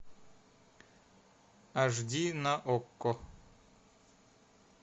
аш ди на окко